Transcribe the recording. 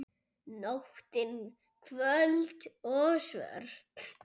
Nóttin köld og svört.